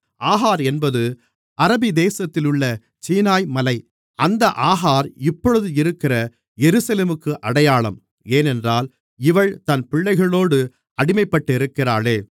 ஆகார் என்பது அரபிதேசத்தில் உள்ள சீனாய்மலை அந்த ஆகார் இப்பொழுது இருக்கிற எருசலேமுக்கு அடையாளம் ஏனென்றால் இவள் தன் பிள்ளைகளோடு அடிமைப்பட்டிருக்கிறாளே